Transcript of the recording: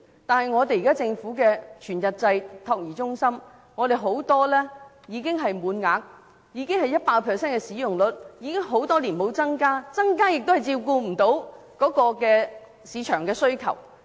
但現時政府的全日制託兒中心很多已滿額，使用率達 100%， 已經很多年沒有增加名額，即使增加名額也未能應付市場的需求。